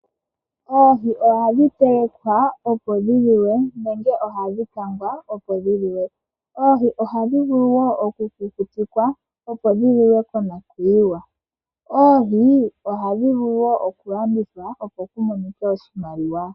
Oohi ohadhi telekwa opo dhi liwe nenge ohadhi kangwa wo opo dhi liwe. Oohi ohadhi vulu wo okukutikwa opo dhi liwe konakuyiwa. Oohi ohadhi vulu wo okulandithwa, opo ku monike oshimaliwa.